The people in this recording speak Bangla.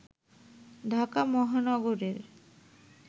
ঢাকা মহানগরের